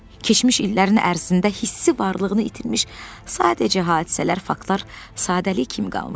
Keçmiş illərin ərzində hissi varlığını itirmiş, sadəcə hadisələr, faktlar sadəlik kimi qalmışdı.